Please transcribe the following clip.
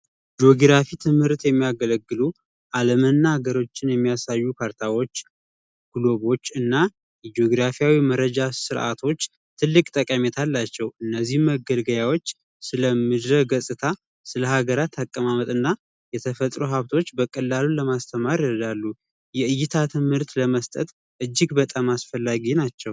የጆግራፊ ትምህርት የሚያገለግሉ ዓለምና ሀገሮችን የሚያሳዩ ካርታዎች እናግራፊ መረጃ ርዓቶች ትልቅ ጠቀሜታ አላቸው እነዚህን መገልገያዎች ስለሚዘገዝታ ስለ ሀገራት አቀማመጥና የተፈጥሮ ሀብቶች በቀላሉን ለማስተማር የእይታ ትምህርት ለመስጠት እጅግ በጣም አስፈላጊ ናቸው።